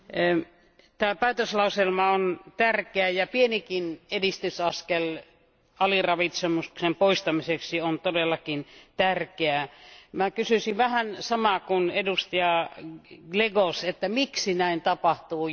Arvoisa puhemies, tämä päätöslauselma on tärkeä, ja pienikin edistysaskel aliravitsemuksen poistamiseksi on todellakin tärkeää. Minä kysyisin vähän samaa kuin edustaja Glezos, että miksi näin tapahtuu?